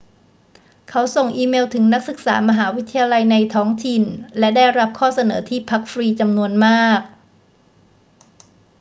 เขาส่งอีเมลถึงนักศึกษามหาวิทยาลัยในท้องถิ่นและได้รับข้อเสนอที่พักฟรีจำนวนมาก